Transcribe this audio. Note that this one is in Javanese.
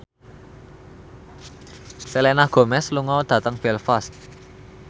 Selena Gomez lunga dhateng Belfast